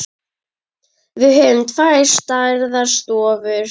Við höfum tvær stærðar stofur.